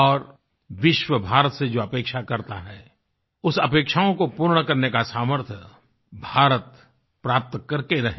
और विश्व भारत से जो अपेक्षा करता है उस अपेक्षाओं को पूर्ण करने का सामर्थ्य भारत प्राप्त करके रहे